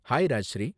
Hi Rajshri.